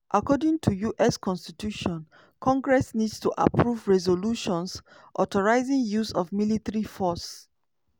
according to us constitution congress need to approve resolutions authorizing use of military force.